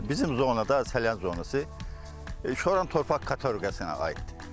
Bizim zonada, Salyan zonası şoran torpaq kateqoriyasına aiddir.